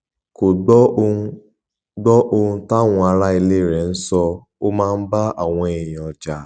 kò gbọ ohun gbọ ohun táwọn ará ilé rẹ ń sọ ó máa ń bá àwọn èèyàn jà